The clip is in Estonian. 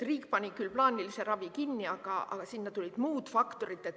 Riik pani küll plaanilise ravi kinni, aga sinna tulid muud faktorid.